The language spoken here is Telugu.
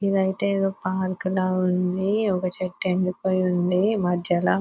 ఇది అయితే ఏడో పార్కు లాగా ఉంది. ఒక చెట్టు ఎండిపోయి ఉంది మద్యాల --